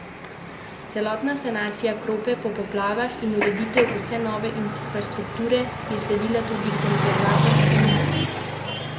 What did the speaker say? Celotna sanacija Krope po poplavah in ureditev vse nove infrastrukture je sledila tudi konzervatorskemu načrtu, ki ga je pripravil zavod za varstvo kulturne dediščine, saj je Kropa kulturni spomenik.